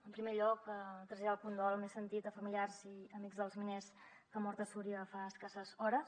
en primer lloc traslladar el condol més sentit als familiars i amics dels miners que han mort a súria fa escasses hores